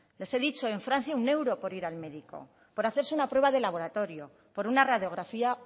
les he dicho en francia uno euro por ir al médico por hacerse una prueba de laboratorio por una radiografía